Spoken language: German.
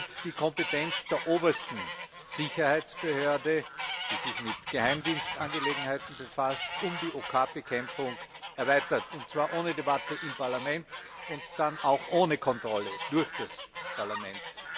Zuerst wir die Kompetenz der obersten Sicherheitsbehörde, die sich mit Geheimdienstangelegenheiten befasst, um die OK Bekämpfung erweitert, und zwar ohne Debatte im Parlament und dann auch ohne Kontrolle durch das Parlament.